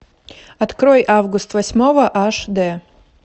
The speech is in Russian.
открой август восьмого аш дэ